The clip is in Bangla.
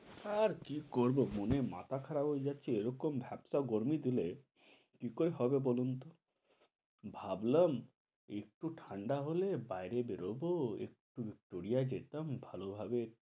আর কি করব মানে মাথা খারাপ হয়ে যাচ্ছে এরকম ভেপসা গরমি দিলে কি করে হবে বলুনতো? ভাবলাম একটু ঠান্ডা হলে বাইরে বেরুব একটু tour এ যেতাম ভালভাবে।